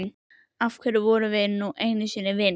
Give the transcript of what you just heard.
Af því við vorum nú einu sinni vinir.